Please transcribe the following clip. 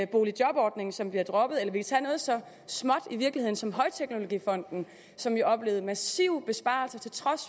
boligjobordningen som bliver droppet eller vi kan tage noget så i virkeligheden småt som højteknologifonden som jo oplevede massive besparelser til trods